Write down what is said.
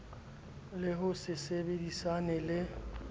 le ho se sebedisane le